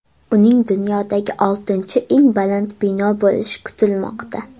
Uning dunyodagi oltinchi eng baland bino bo‘lishi kutilmoqda.